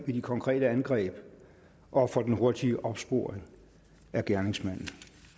ved de konkrete angreb og for den hurtige opsporing af gerningsmanden